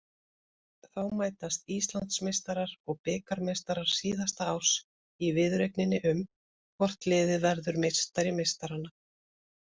Þá mætast Íslandsmeistarar og bikarmeistarar síðasta árs í viðureigninni um hvort liðið verður meistari meistaranna.